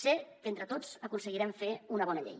sé que entre tots aconseguirem fer una bona llei